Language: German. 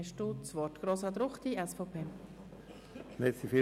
Das Wort hat Grossrat Ruchti.